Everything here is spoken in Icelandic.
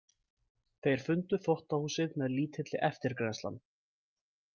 Þeir fundu þvottahúsið með lítilli eftirgrennslan.